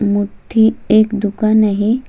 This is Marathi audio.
मोठी एक दुकान आहे.